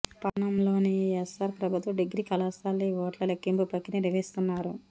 పట్టణంలోని S R ప్రభుత్వ degree కళాశాలలో ఈ ఓట్ల లెక్కింపు ప్రకియ నిర్వహిస్తున్నారు